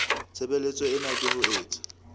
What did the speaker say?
tshebeletso ena ke ho etsa